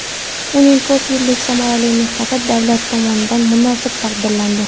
Uning ko‘p yillik samarali mehnati davlat tomonidan munosib taqdirlandi.